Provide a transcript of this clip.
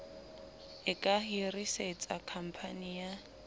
e ka hirisetsa khamphani ya